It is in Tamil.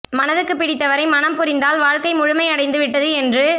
மனதுக்கு பிடித்தவரை மணம் புரிந்தால் வாழ்க்கை முழுமை அடைந்து விட்டது என்று